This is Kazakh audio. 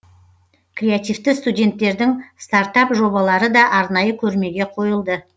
креативті студенттердің стартап жобалары да арнайы көрмеге қойылды